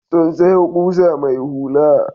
Sun sayo ƙusa mai hula.